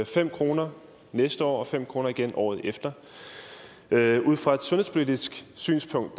fem kroner næste år og fem kroner igen året efter ud fra et sundhedspolitisk synspunkt